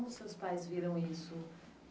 Como os seus pais viram isso?